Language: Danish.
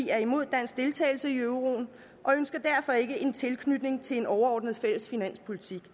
er imod dansk deltagelse i euroen og ønsker derfor ikke en tilknytning til en fælles overordnet finanspolitik